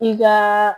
I ka